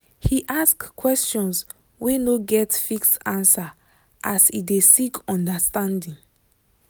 he ask questions wey no get fixed answer as e de seek understanding